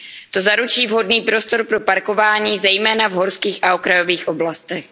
To zaručí vhodný prostor pro parkování zejména v horských a okrajových oblastech.